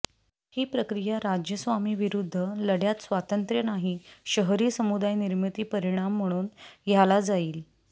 ही प्रक्रिया राज्य स्वामी विरुद्ध लढ्यात स्वातंत्र्य नाही शहरी समुदाय निर्मिती परिणाम म्हणून ह्याला जाईल